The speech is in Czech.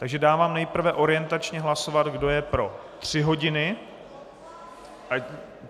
Takže dávám nejprve orientačně hlasovat, kdo je pro tři hodiny.